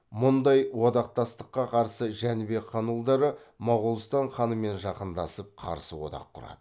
мұндай одақтастыққа қарсы жәнібек хан ұлдары моғолстан ханымен жақындасып қарсы одақ құрады